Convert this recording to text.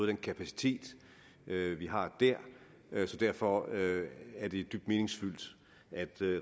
den kapacitet vi har dér derfor er det dybt meningsfyldt at